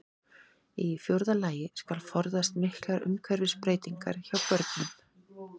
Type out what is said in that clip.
Í fjórða lagi skal forðast miklar umhverfisbreytingar hjá börnum.